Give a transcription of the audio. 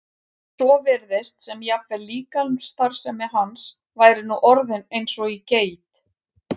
svo virtist sem jafnvel líkamsstarfsemi hans væri nú orðin eins og í geit.